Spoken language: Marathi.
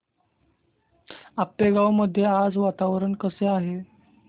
आपेगाव मध्ये आज वातावरण कसे आहे